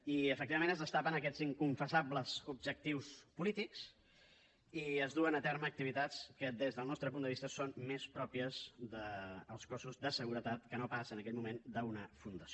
i efectivament es destapen aquests inconfessables objectius polítics i es duen a terme activitats que des del nostre punt de vista són més pròpies dels cossos de seguretat que no pas en aquell moment d’una fundació